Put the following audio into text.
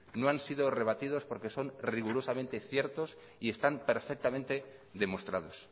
no han sido rebatidos porque son rigurosamente ciertos y están perfectamente demostrados